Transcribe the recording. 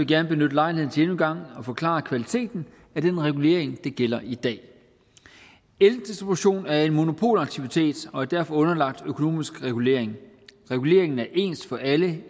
gerne benytte lejligheden til endnu en gang at forklare kvaliteten af den regulering der gælder i dag eldistribution er en monopolaktivitet og er derfor underlagt økonomisk regulering reguleringen er ens for alle